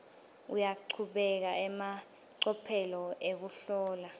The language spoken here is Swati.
uyachubeka emacophelo ekuhlola